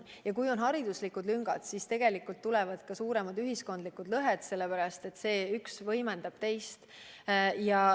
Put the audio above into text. Ja kui on hariduslikud lüngad, siis tulevad ka suuremad ühiskondlikud lõhed, sest üks võimendab teist.